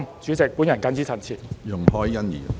主席，我謹此陳辭。